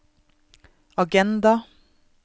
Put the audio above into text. agenda